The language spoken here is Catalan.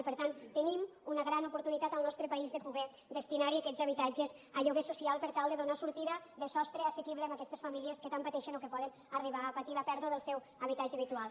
i per tant tenim una gran oportunitat al nostre país de poder destinar aquests habitatges a lloguer social per tal de donar sortida de sostre assequible a aquestes famílies que tant pateixen o que poden arribar a patir la pèrdua del seu habitatge habitual